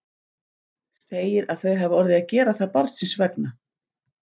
Segir að þau hafi orðið að gera það barnsins vegna.